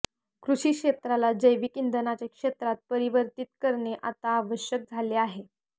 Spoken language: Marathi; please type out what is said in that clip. कृषी क्षेत्राला जैविक इंधनाच्या क्षेत्रात परिवर्तित करणे आता आवश्यक झाले आहे